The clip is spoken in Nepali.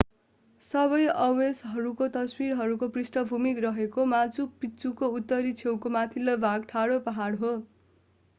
सबै अवशेषहरूका तस्विरहरूको पृष्ठभूमि रहेको माचु पिच्चुको उत्तरी छेउको माथिल्लो भाग ठाडो पहाड हो